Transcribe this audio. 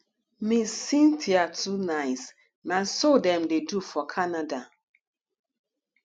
ms cynthia too nice na so dem dey do for canada